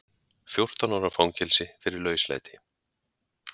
Fjórtán ára í fangelsi fyrir lauslæti